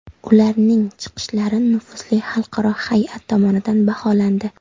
Ularning chiqishlari nufuzli xalqaro hay’at tomonidan baholandi.